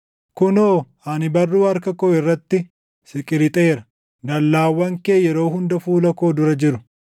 Kunoo, ani barruu harka koo irratti si qirixeera; dallaawwan kee yeroo hunda fuula koo dura jiru.